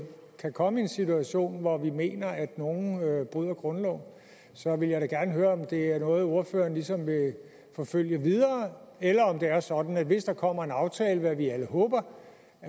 kan komme i en situation hvor vi mener at nogle bryder grundloven så jeg vil da gerne høre om det er noget ordføreren ligesom vil forfølge videre eller om det er sådan at hvis der kommer en aftale hvad vi alle håber